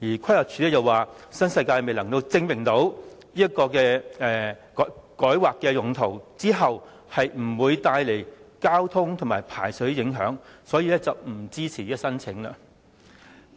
規劃署亦表示，新世界未能證明改劃用途後不會帶來交通和排水方面的影響，所以不支持這項申請。